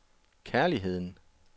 kærligheden